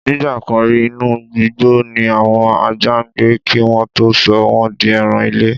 Nígbà kan rí, inú igbó ni àwọn ajá ń gbé kí wọ́n tó sọ wọ́n di ẹran-ilé.